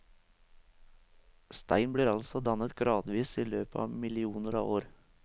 Stein blir altså dannet gradvis i løpet av millioner av år.